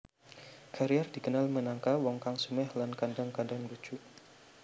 Carrier dikenal minangka wong kang sumeh lan kadhang kadhang lucu